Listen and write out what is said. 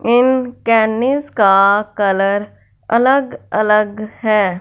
इन कैनिस का कलर अलग अलग है।